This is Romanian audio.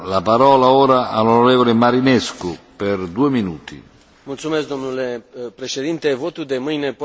Votul de mâine poate să finalizeze prima procedură de aprobare a bugetului anual, în conformitate cu Tratatul de la Lisabona.